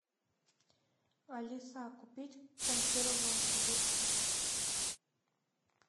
алиса купить консервы в новосибирске